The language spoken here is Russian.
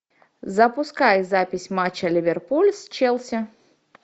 запускай запись матча ливерпуль с челси